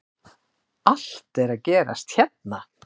Allt er að gerast hérna!!